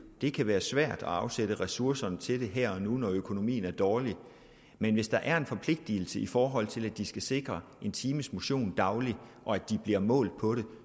det kan være svært at afsætte ressourcerne til det her og nu når økonomien er dårlig men hvis der er en forpligtelse i forhold til at de skal sikre en times motion dagligt og de bliver målt på det